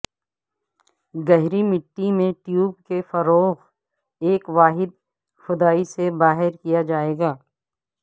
گہری مٹی میں ٹیوب کے فروغ ایک واحد کھدائی سے باہر کیا جائے گا